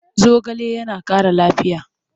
Zogale yana ƙara lafiya.